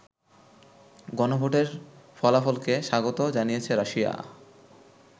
গণভোটের ফলাফলকে স্বাগত জানিয়েছে রাশিয়া।